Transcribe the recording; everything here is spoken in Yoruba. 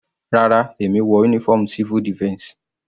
Rárá, èmi wọ uniform civil defense.